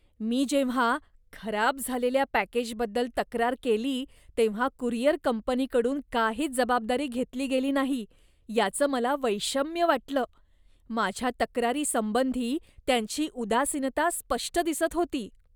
मी जेव्हा खराब झालेल्या पॅकेजबद्दल तक्रार केली तेव्हा कुरिअर कंपनीकडून काहीच जबाबदारी घेतली गेली नाही याचं मला वैषम्य वाटलं. माझ्या तक्रारी संबंधी त्यांची उदासीनता स्पष्ट दिसत होती.